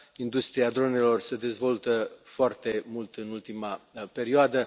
Industria dronelor se dezvoltă foarte mult în ultima perioadă.